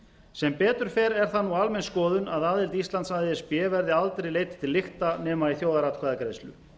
sem betur fer er það nú almenn skoðun að aðild íslands að e s b verði aldrei leidd til lykta nema í þjóðaratkvæðagreiðslu